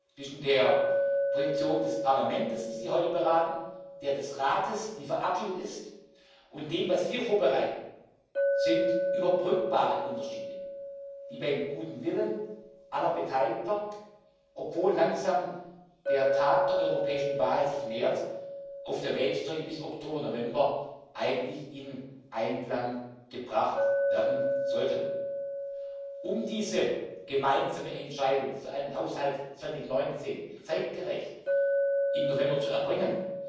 Zwischen der Position des Parlaments, die Sie heute beraten, der des Rates, die verabschiedet ist, und dem, was wir vorbereiten, gibt es überbrückbare Unterschiede, die beim guten Willen aller Beteiligten, obwohl sich langsam der Tag der europäischen Wahl nähert, auf der Wegstrecke bis Oktober November eigentlich in Einklang gebracht werden sollten. Um diese gemeinsame Entscheidung für einen Haushalt 2019 zeitgerecht bis November zu erreichen,